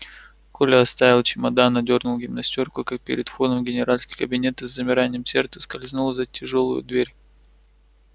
коля оставил чемодан одёрнул гимнастёрку как перед входом в генеральский кабинет и с замиранием сердца скользнула за тяжёлую дверь